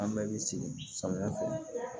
An bɛɛ bɛ sigi samiyɛ fɛ